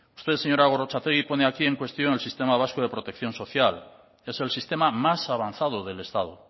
usted señora gorrotxategi pone aquí en cuestión el sistema vasco de protección social es el sistema más avanzado del estado